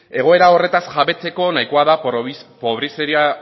egoera horretaz jabetzeko nahikoa da